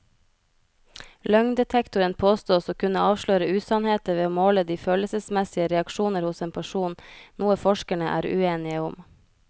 Løgndetektoren påstås å kunne avsløre usannheter ved å måle de følelsesmessige reaksjoner hos en person, noe forskerne er uenige om.